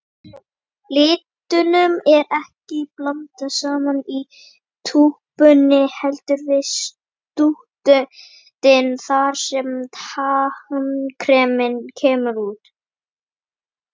Litunum er ekki blandað saman í túpunni, heldur við stútinn þar sem tannkremið kemur út.